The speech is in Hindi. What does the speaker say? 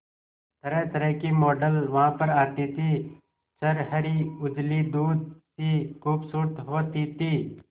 तरहतरह की मॉडल वहां पर आती थी छरहरी उजली दूध सी खूबसूरत होती थी